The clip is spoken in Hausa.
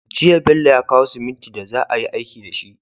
Jiya Bello ya kawo simintin da za a yi aiki dashi